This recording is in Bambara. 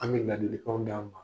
An bɛ ladikan 'a ma anw